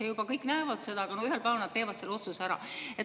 Ja juba kõik näevad seda, aga no ühel päeval nad teevad selle otsuse ära.